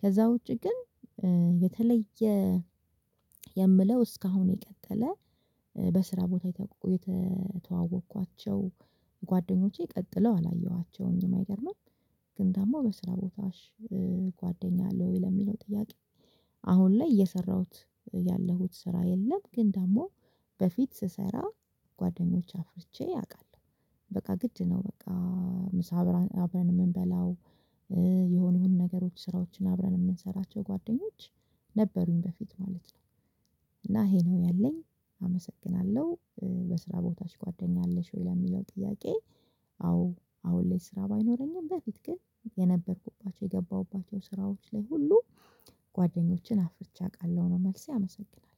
ከዛ ውጪ ግን የተለየ የምለው እስካሁን የቀጠለ። በስራ ቦታ የተተዋወቅኳቸው ጓደኞቼ ቀጥለው አላየኋቸውኝም አይገርምም? ግን ደሞ በስራ ቦታሽ ጓደኛ አለ ወይ ለሚለው ጥያቄ? አሁን ላይ እየሰራሁት ያለሁት ስራ የለም። ግን ደግሞ በፊት ስሰራ ጓደኞች አፍርቼ አውቃለሁ። በቃ ግድ ነው በቃ። ምሳ አብረን አብረን የምንበላው የሆነ የሆነ ነገሮች ስራዎችን አብረን የምንሰራቸው ጓደኞች ነበሩኝ በፊት ማለት ነው። እና ይሄ ነው ያለኝ አመሰግናለሁ። በስራ ቦታሽ ጓደኛ አለሽ ወይ ለሚለው ጥያቄ? አዎ አሁን ላይ ስራ ባይኖረኝም በፊት ግን የነበርኩባቸው የገባሁባቸው ስራዎች ላይ ሁሉ ጓደኞችን አፍርቼ አቃለሁ ነው መልሴ አመሰግናለሁ።